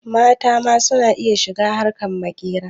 Mata ma su na iya shiga harkar maƙera.